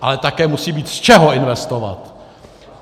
Ale také musí být z čeho investovat.